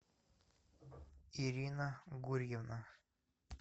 ирина гурьевна